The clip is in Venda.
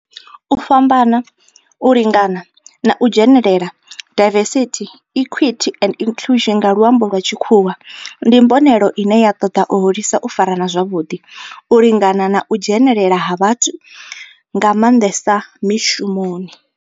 U fhambana, u lingana na u dzhenelela, diversity, equity and inclusion nga lwambo lwa tshikhuwa, ndi mbonelelo ine ya toda u hulisa u farana zwavhudi, u lingana na u dzhenelela ha vhathu nga mandesa mishumoni.